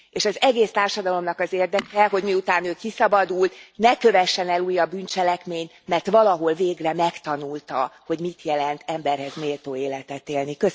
Az egész társadalomnak az érdeke, hogy miután ő kiszabadult, ne kövessen el újabb bűncselekményt, mert valahol végre megtanulta, hogy mit jelent emberhez méltó életet élni.